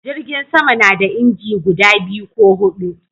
Jirgin sama na da inji guda biyu ko hudu